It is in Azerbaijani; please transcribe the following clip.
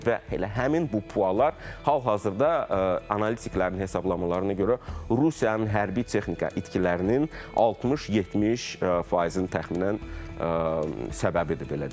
və elə həmin bu Pualar hal-hazırda analitiklərin hesablamalarına görə Rusiyanın hərbi texnika itkilərinin 60-70 faizinin təxminən səbəbidir, belə deyək.